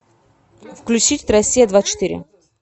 включить россия двадцать четыре